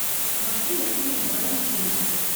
максим васильевич бадамшин